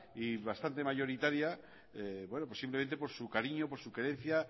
y bastante mayoritaria simplemente por su cariño por su querencia